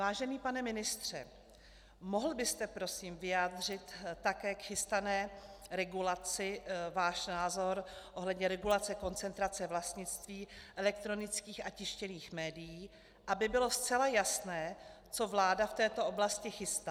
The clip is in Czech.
Vážený pane ministře, mohl byste prosím vyjádřit také k chystané regulaci svůj názor ohledně regulace koncentrace vlastnictví elektronických a tištěných médií, aby bylo zcela jasné, co vláda v této oblasti chystá?